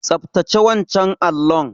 Tsaftace wancan allon.